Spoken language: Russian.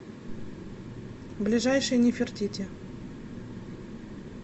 ближайший нефертити